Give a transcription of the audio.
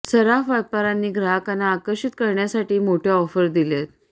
सराफ व्यापाऱ्यांनी ग्राहकांना आकर्षित करण्यासाठी मोठ्या ऑफर दिल्यात